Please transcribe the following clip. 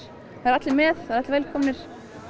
það eru allir með það eru allir velkomnir